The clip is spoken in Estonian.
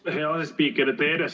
Hea asespiiker!